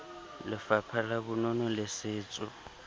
lefapha la bonono le setso